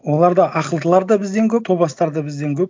оларда ақылдылар да бізден көп топастар да бізден көп